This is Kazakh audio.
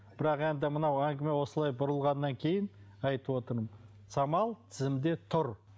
бірақ енді мынау әңгіме осылай бұрылғаннан кейін айтып отырмын самал тізімде тұр